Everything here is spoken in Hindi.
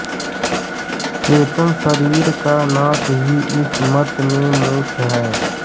चेतन शरीर का नाश ही इस मत में मोक्ष है